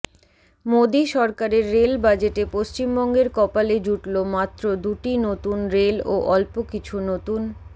মোদী সরকারের রেল বাজেটে পশ্চিমবঙ্গের কপালে জুটল মাত্র দুটি নতুন রেল ও অল্প কিছু নতুন